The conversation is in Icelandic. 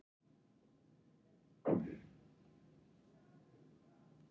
Lúsifer, hvað er á dagatalinu mínu í dag?